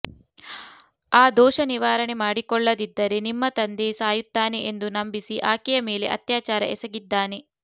ಆ ದೋಷ ನಿವಾರಣೆ ಮಾಡಕೊಳ್ಳದಿದ್ದರೇ ನಿಮ್ಮ ತಂದೆ ಸಾಯುತ್ತಾನೆ ಎಂದು ನಂಬಿಸಿ ಆಕೆಯ ಮೇಲೆ ಅತ್ಯಾಚಾರ ಎಸಗಿದ್ದಾನೆ